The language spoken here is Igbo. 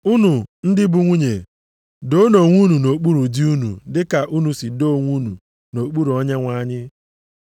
Unu ndị bụ nwunye, doonụ onwe unu nʼokpuru di unu dị ka unu si doo onwe unu nʼokpuru Onyenwe anyị.